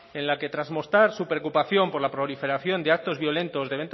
en la que tras mostrar su preocupación por la proliferación de actos violentos